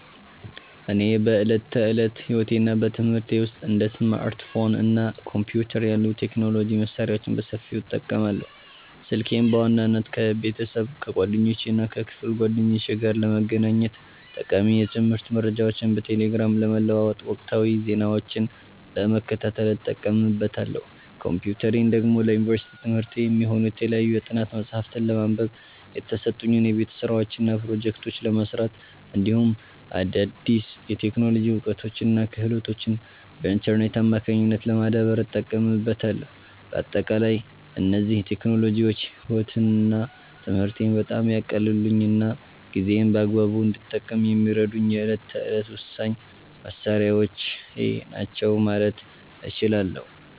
እኔ በዕለት ተዕለት ሕይወቴና በትምህርቴ ውስጥ እንደ ስማርትፎን እና ኮምፒውተር ያሉ የቴክኖሎጂ መሣሪያዎችን በሰፊው እጠቀማለሁ። ስልኬን በዋናነት ከቤተሰብ፣ ከጓደኞቼና ከክፍል ጓደኞቼ ጋር ለመገናኘት፣ ጠቃሚ የትምህርት መረጃዎችን በቴሌግራም ለመለዋወጥና ወቅታዊ ዜናዎችን ለመከታተል እጠቀምበታለሁ። ኮምፒውተሬን ደግሞ ለዩኒቨርሲቲ ትምህርቴ የሚሆኑ የተለያዩ የጥናት መጽሐፍትን ለማንበብ፣ የተሰጡኝን የቤት ሥራዎችና ፕሮጀክቶች ለመሥራት፣ እንዲሁም አዳዲስ የቴክኖሎጂ እውቀቶችንና ክህሎቶችን በኢንተርኔት አማካኝነት ለማዳበር እጠቀምበታለሁ። በአጠቃላይ እነዚህ ቴክኖሎጂዎች ሕይወቴንና ትምህርቴን በጣም ያቀለሉልኝና ጊዜዬን በአግባቡ እንድጠቀም የሚረዱኝ የዕለት ተዕለት ወሳኝ መሣሪያዎቼ ናቸው ማለት እችላለሁ።